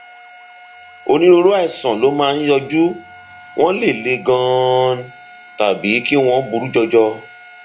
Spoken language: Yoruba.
onírúurú àìsàn ló máa ń yọjú wọn lè le ganan tàbí kí wọn burú jọjọ